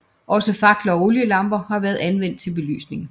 Også fakler og olielamper har været anvendt til belysning